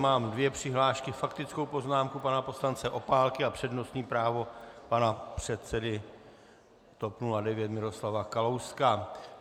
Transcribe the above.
Mám dvě přihlášky, faktickou poznámku pana poslance Opálky a přednostní právo pana předsedy TOP 09 Miroslava Kalouska.